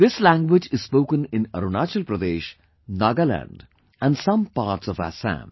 This language is spoken in Arunachal Pradesh, Nagaland and some parts of Assam